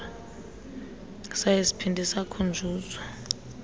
saye saphinda sakhunjuzwa